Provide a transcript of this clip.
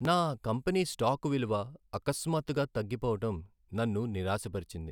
నా company stock విలువ అకస్మాత్తుగా తగ్గిపోవడం నన్ను నిరాశపరిచింది.